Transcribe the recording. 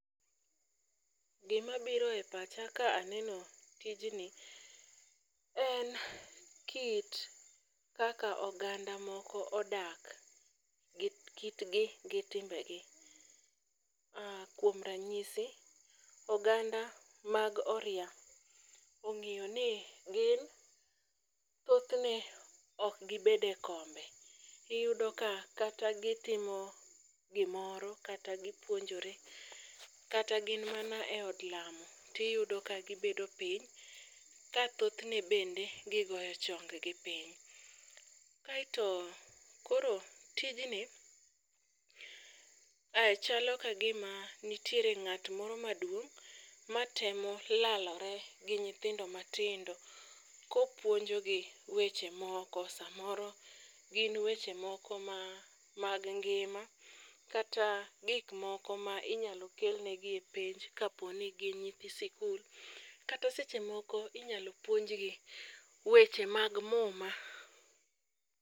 Gimabiro e pacha ka aneno tijni, en kit kaka oganda moko odak, gi kitgi gi timbe gi, kuom ranyisi, oganda mag oria ong'iyo ni gin thothne, ok gibed e kombe. Iyudo ka kata gitimo gimoro, kata gipuonjore, kata gin mana e od lamo, tiyudo ka gibedo piny ka thothne bende gigoyo chonggi piny. Kaeto koro tijni, chalo ka gima nitiere ng'at moro maduong' matemo lalore gi nyithindo matindo kopuonjogi weche moo, samoro gin weche moko mag ngima, kata gik moko ma inyalo kelnegi epenj kapo ni gin nyithi sikul, kata seche moko inyalo puonjgi, weche mag muma.